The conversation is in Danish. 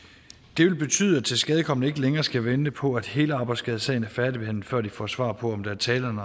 det vil betyde at tilskadekomne ikke længere skal vente på at hele arbejdsskadesagen er færdigbehandlet før de får svar på om der er tale om